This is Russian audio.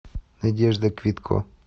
надежда квитко